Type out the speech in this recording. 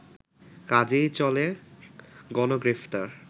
কাজেই চলে গণগ্রেফতার